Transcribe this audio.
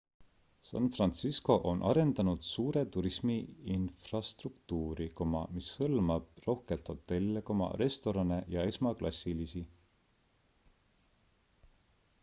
san fransisco on arendanud suure turismi infrastruktuuri mis hõlmab rohkelt hotelle restorane ja esmaklassilisi